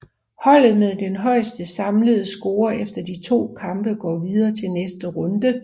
Holdet med den højeste samlede score efter de to kampe går videre til næste runde